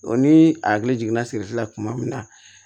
O ni a hakili jiginna sirili la kuma min na